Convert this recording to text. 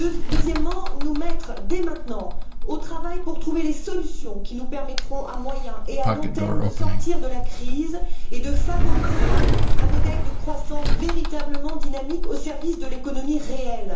Deuxièmement, nous mettre dès maintenant au travail pour trouver les solutions qui nous permettront à moyen et à long terme de sortir de la crise et de favoriser un modèle de croissance véritablement dynamique au service de l'économie réelle.